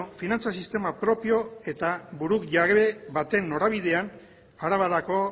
finantza sistema propio eta burujabe baten norabidean arabarako